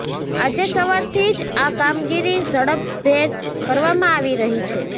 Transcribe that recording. આજે સવારથી જ આ કામગીરી ઝડપભેર કરવામાં આવી રહી છે